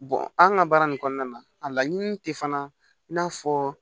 an ka baara nin kɔnɔna na a laɲini te fana i n'a fɔ